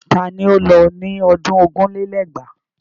Ta ni ó lọ ní ọdún ogún lé lẹ́gbàá?